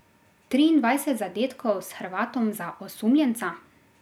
Triindvajset zadetkov s Hrvatom za osumljenca?